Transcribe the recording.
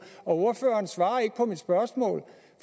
ordføreren svarer ikke på mit spørgsmål